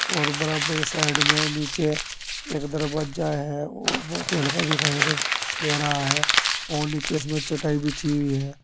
और बराबर साइड में नीचे एक दरवज्जा है वो बोहोत ही हल्का दिखाई दे दे रहा है और नीचे इसमें चटाई बिछी हुई है।